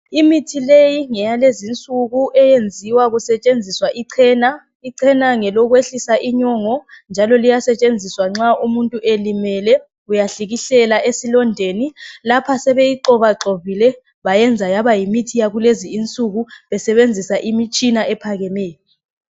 Imithi leyi ngeyalezi insuku Eyenziwa kusetshenziswa ichena ichena ngelokwehlisa inyongo njalo liyasetshenziswa nxa umuntu elimele Uyahlikihlela esilondeni lapha sebeyigxobagxobile bayenza yaba yimithi yalezinsuku besebenzisa imitshina ephakemeyo.